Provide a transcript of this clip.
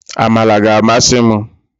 Amala ga-amasị m